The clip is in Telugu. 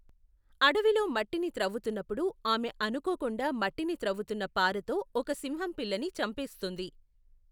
అడవిలో మట్టిని త్రవ్వుతున్నప్పుడు, ఆమె అనుకోకుండా మట్టిని త్రవ్వుతున్న పారతో ఒక సింహం పిల్లని చంపేస్తుంది.